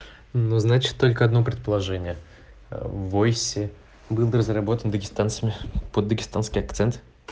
ну значит только одно предложение войси был разработан дагестанцами под дагестанский акцент